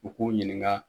U k'u ɲininka